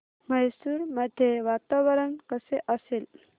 मैसूर मध्ये वातावरण कसे असेल